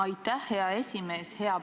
Aitäh, hea esimees!